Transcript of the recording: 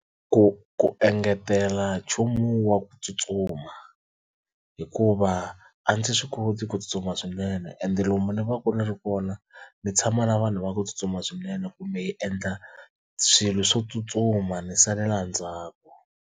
Ku ku engetela nchumu wa ku tsutsuma hikuva a ndzi swi koti ku tsutsuma swinene ende lomu ni va ku ni ri kona ndzi tshama na vanhu va ku tsutsuma swinene kumbe hi endla swilo swo tsutsuma ni salela ndzhaku.